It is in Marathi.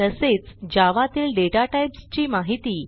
तसेच जावा तील डाटाटाइप्स ची माहिती